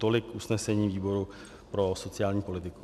Tolik usnesení výboru pro sociální politiku.